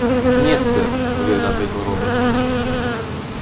нет сэр уверенно ответил робот